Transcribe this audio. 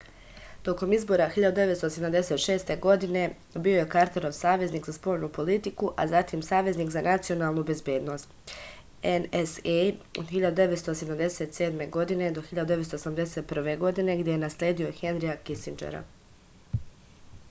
током избора 1976. године био је картеров саветник за спољну политику а затим саветник за националну безбедност nsa од 1977. до 1981. године где је наследио хенрија кисинџера